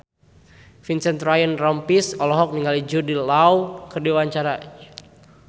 Vincent Ryan Rompies olohok ningali Jude Law keur diwawancara